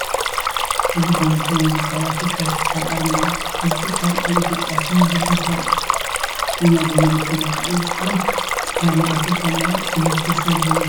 እዚ ዳንጐቴ ናይ ዝበሃል ኣፍሪካዊ ትካል ኣርማ እዩ፡፡ እዚ ትካል ኣብ ኢትዮጵያ ስሚንቶ ብምፍራይ ኢና ብዋናነት ንፈልጦ፡፡ እዚ ከም ትካል ንኣፍሪካ ናይ ዕቤት ተስፋ ዝህብ እዩ፡፡